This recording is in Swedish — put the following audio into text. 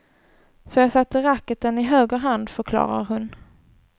Så jag satte racketen i höger hand, förklarar hon.